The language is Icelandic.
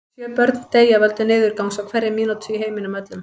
Sjö börn deyja af völdum niðurgangs á hverri mínútu í heiminum öllum.